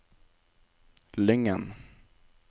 Lyngen